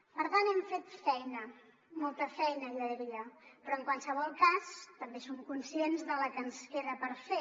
per tant hem fet feina molta feina jo diria però en qualsevol cas també som conscients de la que ens queda per fer